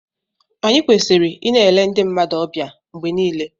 Anyị kwesịrị ịna-ele ndị mmadụ ọbịa mgbe niile